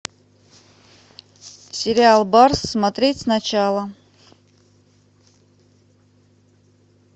сериал барс смотреть сначала